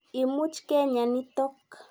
Imuch kenya nitok.